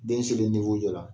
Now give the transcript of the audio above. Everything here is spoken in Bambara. Den selen jɔ la